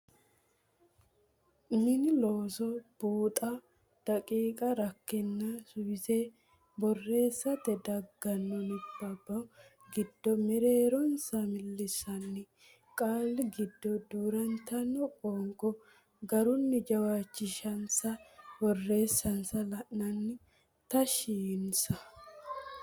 Mini Looso Buuxa daqiiqa rakkenna suwisse borreessite daggino nabbabbanno gede mereeronsa millissanni qaalla giddo duu rantino qoonqo garunni jawaachishinsa borreessansa la anni taashshinsa.